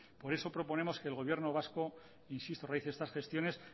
por eso proponemos que el gobierno vasco insisto realice estas gestiones